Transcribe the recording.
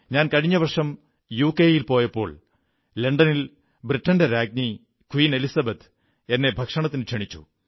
ഞാൻ കഴിഞ്ഞ വർഷം യുകെയിൽ പോയപ്പോൾ ലണ്ടനിൽ ബ്രിട്ടന്റെ എലിസബത്ത് രാജ്ഞി എന്നെ ഭക്ഷണത്തിനു ക്ഷണിച്ചു